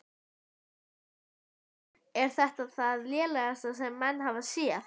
Björn Þorláksson: Er þetta það lélegasta sem menn hafa séð?